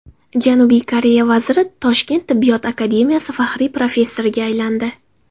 Janubiy Koreya vaziri Toshkent tibbiyot akademiyasi faxriy professoriga aylandi.